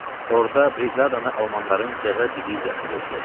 Orda briqadanı almanların cəza diviziyası yoxlayacaq.